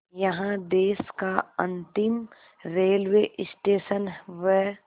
यहाँ देश का अंतिम रेलवे स्टेशन व